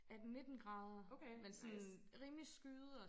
18 19 grader men sådan rimelig skyet og